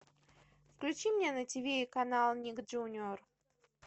включи мне на тв канал ник джуниор